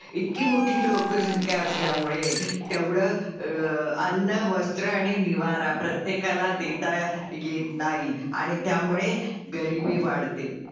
इतकी मोठी लोकसंख्या असल्यामुळे तेवढं अं अन्न, वस्त्र आणि निवारा प्रत्येकाला देता येत नाही आणि त्यामुळे गरीबी वाढते.